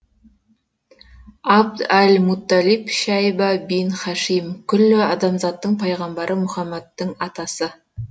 абд әл мутталиб шәйбә бин һашим күллі адамзаттың пайғамбары муһаммаднің атасы